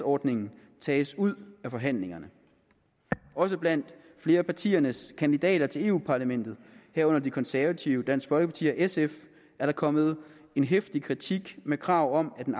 ordningen tages ud af forhandlingerne også blandt flere af partiernes kandidater til europa parlamentet herunder de konservative dansk folkeparti og sf er der kommet en heftig kritik med krav om at en